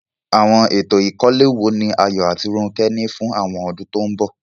Àwọn ètò ìkọ́lé wo ni Ayo àti Ronke ní fún àwọn ọdún tó ń bọ̀?